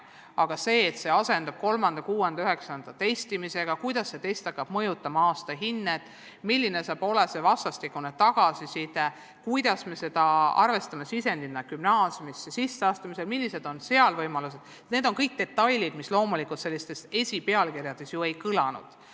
Aga see, et eksam asendub 3., 6. ja 9. klassis testimisega, viis, kuidas see test hakkab mõjutama aastahinnet, milline saab olema vastastikune tagasiside ja kuidas me arvestame seda sisendina gümnaasiumisse sisseastumisel, millised on võimalused – kõik need detailid ju pealkirjades ei kõlanud.